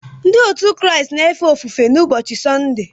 Ndị otu Kraịst na-efe ofufe n’ụbọchị Sọnde